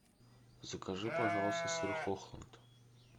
закажи пожалуйста сыр хохланд